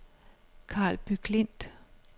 Karlby Klint